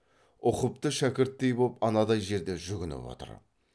ұқыпты шәкірттей боп анадай жерде жүгініп отыр